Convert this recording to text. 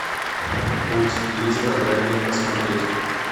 путь лидера дай мне посмотреть